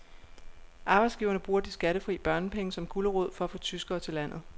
Arbejdsgiverne bruger de skattefri børnepenge som gulerod for at få tyskere til landet.